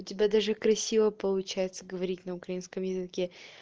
у тебя даже красиво получается говорить на украинском языке